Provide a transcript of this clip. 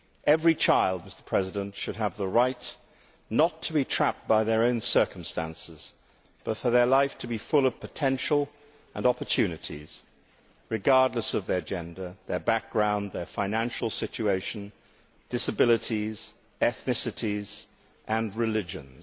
Every child should have the right not to be trapped by their own circumstances, but for their life to be full of potential and opportunities, regardless of their gender, their background, their financial situation, disabilities, ethnicities and religions.